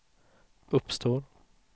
uppstår